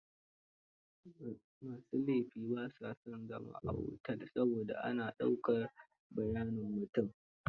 Ma su laifi ba sa son zama a otel saboda ana dauakr bayanan mutum.